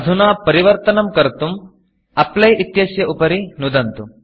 अधुना परिवर्तनं कर्तुं Applyअप्लै इत्यस्य उपरि नुदन्तु